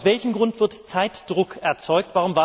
Aus welchem Grund wird Zeitdruck erzeugt?